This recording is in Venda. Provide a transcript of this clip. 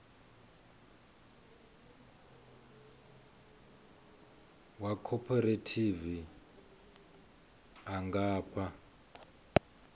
wa khophorethivi a nga fha